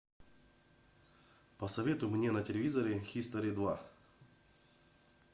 посоветуй мне на телевизоре хистори два